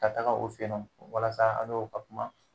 Ka taga o fɛ ye nɔ walasa an n'o ka kuma.